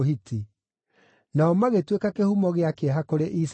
Nao magĩtuĩka kĩhumo gĩa kĩeha kũrĩ Isaaka na Rebeka.